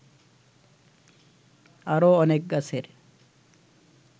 আরো অনেক গাছের